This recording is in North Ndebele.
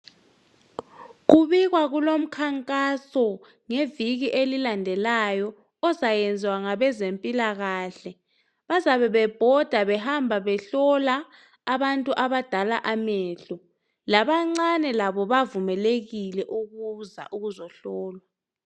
kubikwa kulomkhankaso ngeviki elilandelayo ozayenziwa ngabezempilakhle bazabebebhoda behamba behlola abadala amehlo labancane labo bavumelekile ukuza ukuzehlolwa